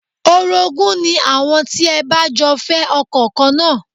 Orogún ni àwọn tí ẹ bá jọ fẹ́ ọkọ kan náà